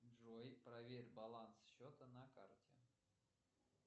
джой проверь баланс счета на карте